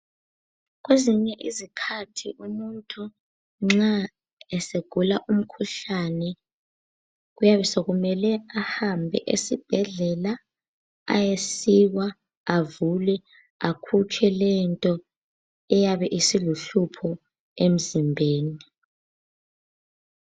Kwezinye izikhathi umuntu nxa esegula umkhuhlane kuyabe sekumele ahambe esibhedlela ayesikwa, avulwe akhutshwe lento eyabe isiluhlupho emzimbeni.